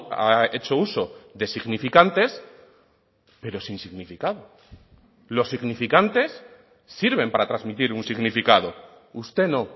ha hecho uso de significantes pero sin significado los significantes sirven para transmitir un significado usted no